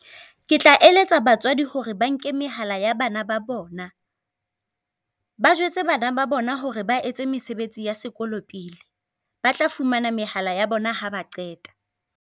Ke tla eletsa batswadi hore ba nke mehala ya bana ba bona, ba jwetse bana ba bona hore ba etse mesebetsi ya sekolo pele. Ba tla fumana mehala ya bona ha ba qeta.